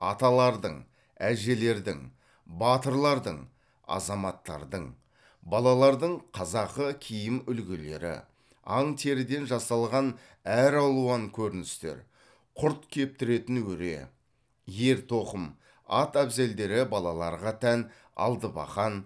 аталардың әжелердің батырлардың азаматтардың балалардың қазақы киім үлгілері аң теріден жасалған әр алуан көріністер құрт кептіретін өре ер тоқым ат әбзелдері балаларға тән алтыбақан